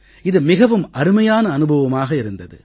இது மிகவும் அருமையான அனுபவமாக இருந்தது